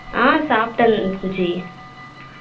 ஆ சாப்டேன் சுஜி